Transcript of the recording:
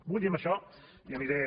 vull dir amb això i aniré